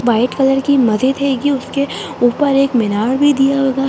White colour की मस्जिद हैगी उसके ऊपर एक मीनार भी दिया होगा।